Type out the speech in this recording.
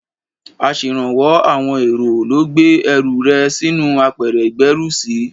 Aṣèrànwọ́ àwọn èrò ló gbé ẹrù rẹ sínú apẹ̀rẹ̀ ìgbérùsí.